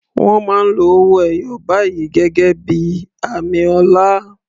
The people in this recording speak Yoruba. Wọ́n máa ń lo owó ẹyọ báyìí gẹ́gẹ́ bí i àmì ọlá.